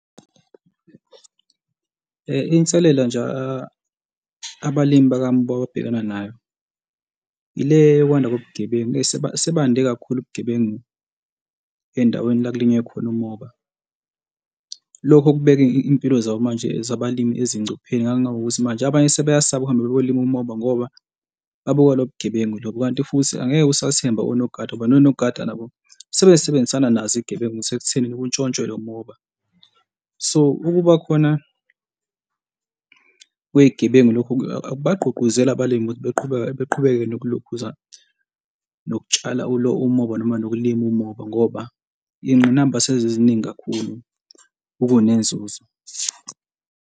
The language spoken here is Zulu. Inselela nje abalimi bakamoba ababhekana nayo ile yokwanda kobugebengu, eyi, sebande kakhulu ubugebengu endaweni la kulinywe khona umoba. Lokho kubeka iy'mpilo zabo manje zabalimi ezingcupheni ngakungangokuthi manje abanye sebeyasaba ukuhamba bayolima umoba ngoba babuka lo bugebengu lobo. Kanti futhi angeke usathemba onogada ngoba nonogada nabo sebesebenzisa nazo iy'gebengu sekuthenini kuntshontshwe lo moba. So, ukuba khona kwey'gebengu lokho akubagqugquzela abalimi ukuthi beqhubeke, beqhubeke nokulokhuza nokutshala umoba noma nokulima umoba, ngoba iy'ngqinamba seziziningi kakhulu okunenzuzo.